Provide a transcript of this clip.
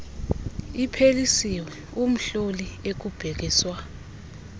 iphelisiwe umhloli ekubhekiswa